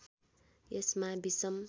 यसमा विषम